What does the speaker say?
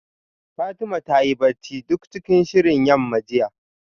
Fatima ta yi bacci duk cikin shirin yamma jiya